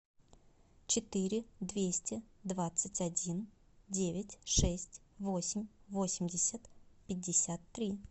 четыре двести двадцать один девять шесть восемь восемьдесят пятьдесят три